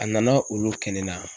A nana olu kɛ ne na.